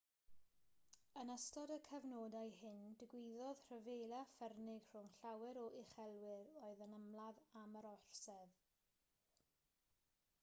yn ystod y cyfnodau hyn digwyddodd rhyfela ffyrnig rhwng llawer o uchelwyr oedd yn ymladd am yr orsedd